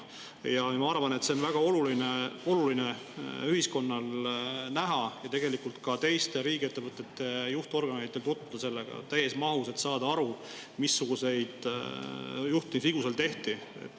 Ja ma arvan, et on väga oluline ühiskonnal seda näha ja tegelikult ka teiste riigiettevõtete juhtorganitel tutvuda sellega täies mahus, et saada aru, missuguseid juhtimisvigu seal tehti.